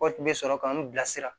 Waati bɛ sɔrɔ k'an bilasira